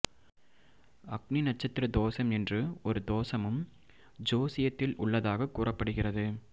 அக்னி நட்சத்திர தோசம் என்று ஒரு தோசமும் ஜோசியத்தில் உள்ளதாக கூறப்படுகிறது